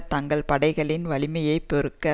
தங்கள் படைகளின் வலிமையை பெருக்க